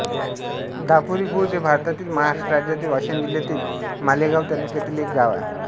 दापुरीखुर्द हे भारतातील महाराष्ट्र राज्यातील वाशिम जिल्ह्यातील मालेगाव तालुक्यातील एक गाव आहे